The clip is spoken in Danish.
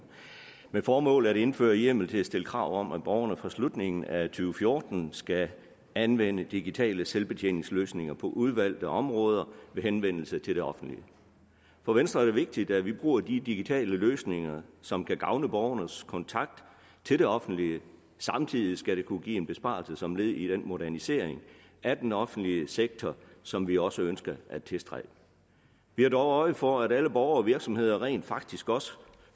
formålet er at indføre hjemmel til at stille krav om at borgerne fra slutningen af to fjorten skal anvende digitale selvbetjeningsløsninger på udvalgte områder ved henvendelse til det offentlige for venstre er det vigtigt at vi bruger de digitale løsninger som kan gavne borgernes kontakt til det offentlige samtidig skal det kunne give en besparelse som led i den modernisering af den offentlige sektor som vi også ønsker at tilstræbe vi har dog øje for at alle borgere og virksomheder rent faktisk også